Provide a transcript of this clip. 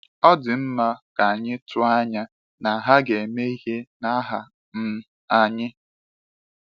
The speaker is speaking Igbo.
Ọ dị mma ka anyị tụọ anya na ha ga-eme ihe n’aha um anyị?’